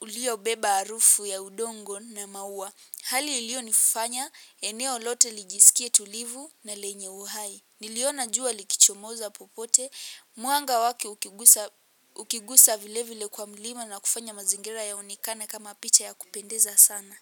uliobeba harufu ya udongo na maua. Hali ilionifanya, eneo lote lijisikie tulivu na lenye uhai. Niliona jua likichomoza popote, mwanga wake ukigusa vile vile kwa mlima na kufanya mazingira yaonekane kama picha ya kupendeza sana.